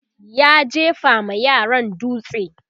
ya jefa ma yaran dutse